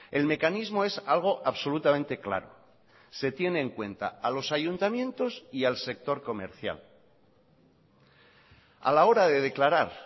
el mecanismo es algo absolutamente claro se tiene en cuenta a los ayuntamientos y al sector comercial a la hora de declarar